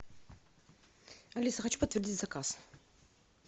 алиса хочу подтвердить заказ